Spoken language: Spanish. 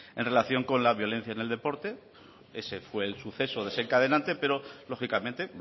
en relación con la violencia en el deporte ese fue el suceso desencadénate pero lógicamente